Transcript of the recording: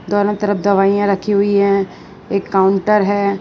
दोनों तरफ दवाइयां रखी हुई हैं एक काउंटर हैं।